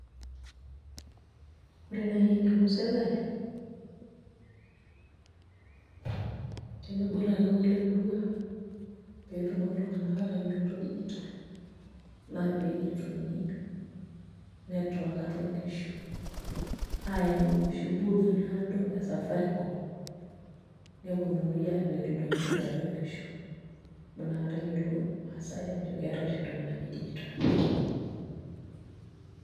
Ore naai eniko sirkali tenebo olarikok le murua pee etumoki iltung'anak aatayioloito dijitol naa pee eyietuni network atua nkishu aayau enoshi booth naado e Safaricom neponunui aapik ildoinyio liatua nkishu amu nakata eyiolou irmaasai aajo keetai oshi entoki naji dijitol.